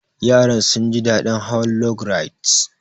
Yaran sun ji daɗin hawa log rides.